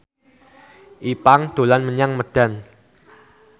Ipank dolan menyang Medan